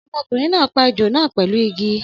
Ọmọkùnrin náà pa ejò náà pẹlu Igi